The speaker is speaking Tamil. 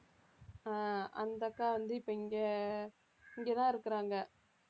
ஆ அந்த அக்கா வந்து இப்ப இங்க, இங்க தான் இருக்கிறாங்க